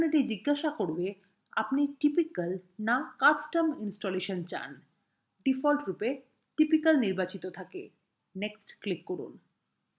এখন এটি জিজ্ঞাসা করবে আপনি typical now custom ইনস্টলেশন চান ডিফল্টরূপে typical নির্বাচিত থাকে next click করুন